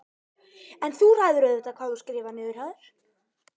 En þú ræður auðvitað hvað þú skrifar niður hjá þér.